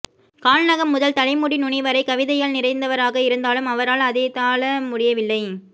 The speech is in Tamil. கால்நகம் முதல் தலைமுடிநுனி வரை கவிதையால் நிறைந்தவராக இருந்தாலும் அவரால் அதைத்தாளமுடியவில்லை